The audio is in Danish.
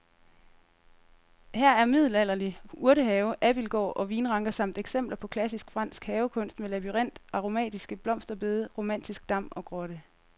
Her er middelalderlig urtehave, abildgård og vinranker samt eksempler på klassisk fransk havekunst med labyrint, aromatiske blomsterbede, romantisk dam og grotte.